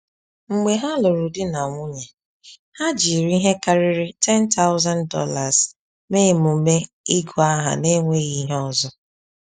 Mgbe ha lụrụ di na nwunye, ha jiri ihe karịrị $10,000 mee emume ịgụ aha n’enweghị ihe ọzọ.